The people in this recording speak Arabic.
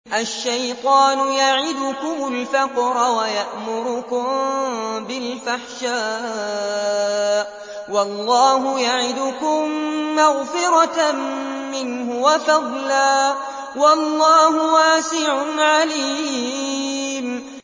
الشَّيْطَانُ يَعِدُكُمُ الْفَقْرَ وَيَأْمُرُكُم بِالْفَحْشَاءِ ۖ وَاللَّهُ يَعِدُكُم مَّغْفِرَةً مِّنْهُ وَفَضْلًا ۗ وَاللَّهُ وَاسِعٌ عَلِيمٌ